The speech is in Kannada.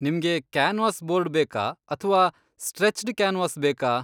ನಿಮ್ಗೆ ಕ್ಯಾನ್ವಾಸ್ ಬೋರ್ಡ್ ಬೇಕಾ ಅಥ್ವಾ ಸ್ಟ್ರೆಚ್ಡ್ ಕ್ಯಾನ್ವಾಸ್ ಬೇಕಾ?